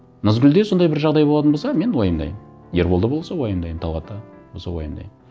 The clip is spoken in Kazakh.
назгүлде сондай бір жағдай болатын болса мен уайымдаймын ерболда болса уайымдаймын талғатта болса уайымдаймын